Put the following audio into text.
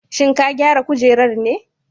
Shin ka gyara kujerar ne?